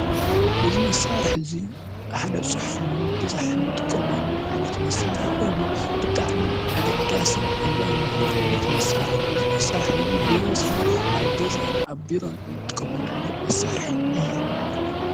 እዚ መሳሪሒ እዚ ሓደ ፅሑፍ ንምብዛሕ ንጥቀመሉ ዓይነት መሳርሒ ኮይኑ ብጣዕሚ ኣገዳስን ኣድላይን ዝኮነ ዓይነት ምርሳርሕን እዚ መሳርሒ እዚ ብበዝሒ ኣብ ገዛን ቢሮን ንጥቀመሉ ዓይነት መሳርሒ እዩ ።